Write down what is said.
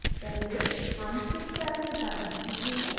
पहले हम fill tab के बारे में सीखेंगे